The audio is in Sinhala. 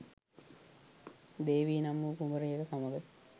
දේවී නම් වූ කුමරියක සමග